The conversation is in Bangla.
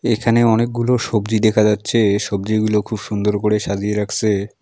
এখানে অনেকগুলো সবজি দেখা যাচ্ছে সবজিগুলো খুব সুন্দর করে সাজিয়ে রাখসে।